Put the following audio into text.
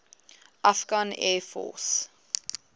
afghan air force